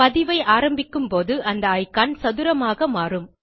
பதிவை ஆரம்பிக்கும்போது அந்த இக்கான் சதுரமாக மாறும்